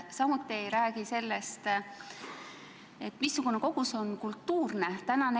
Samuti ei räägi see sellest, kui suur kogus on kultuurne kogus.